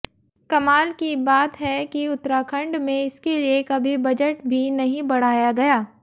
कमाल की बात है कि उत्तराखंड में इसके लिए कभी बजट भी नहीं बढ़ाया गया